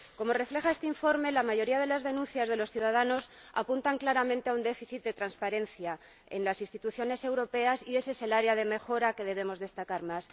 Como refleja este informe, la mayoría de las denuncias de los ciudadanos apunta claramente a un déficit de transparencia en las instituciones europeas y esa es el área de mejora que debemos destacar más.